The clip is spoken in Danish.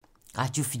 Radio 4